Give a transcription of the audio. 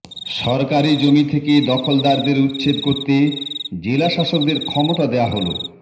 সরকারি জমি থেকে দখলদারদের উচ্ছেদ করতে জেলাশাসকদের ক্ষমতা দেওয়া হলো